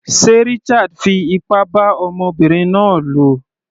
Sé Richard fi ipá bá ọmọbinrin náà lò?